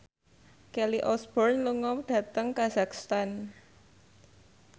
Kelly Osbourne lunga dhateng kazakhstan